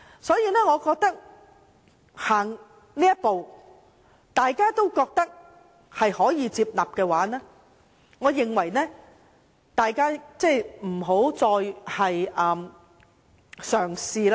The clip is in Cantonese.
所以，踏前了這一步，如果大家都覺得可以接納的話，我認為大家不要再嘗試再進一步。